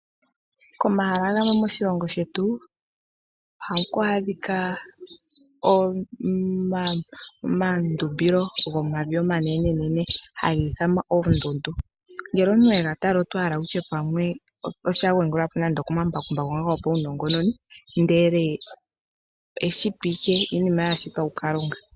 Komahala gamwe moshilongo shetu ohaku adhika omandumbilo gomavi omanene nene, haga ithanwa oondundu. Ngele omuntu wega tala oto hala wutye pamwe osha wagulwa po nande okomambakumbaku gopawu nongononi ndele eshito ashike, iinima yashitwa kuKalunga.